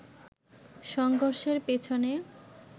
সংঘর্ষের পেছনে